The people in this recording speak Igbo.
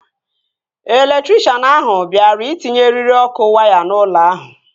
Elektrikshan ahụ bịara itinye eriri ọkụ waya n'ụlọ ahụ